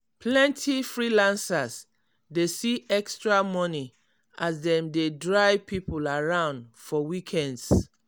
plenty freelancers dey see extra money as dem dey drive people around for weekends.